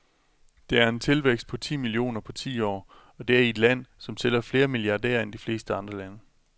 Det er en tilvækst på ti millioner på ti år, og det i et land, som tæller flere milliardærer end de fleste andre lande.